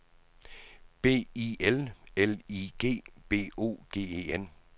B I L L I G B O G E N